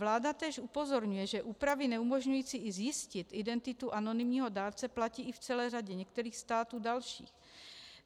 Vláda též upozorňuje, že úpravy neumožňující i zjistit identitu anonymního dárce platí i v celé řadě některých států dalších.